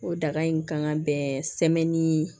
O daga in kan ka bɛn sɛmɛni